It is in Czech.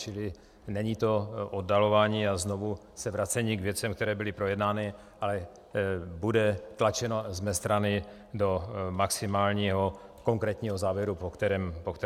Čili není to oddalování a znovu se vracení k věcem, které byly projednány, ale bude tlačeno z mé strany do maximálního konkrétního závěru, po kterém voláte.